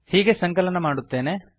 ಹೀಗೆ ಸಂಕಲನ ಮಾಡುತ್ತೇನೆ